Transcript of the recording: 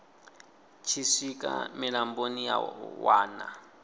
tshi swika mulamboni ya wana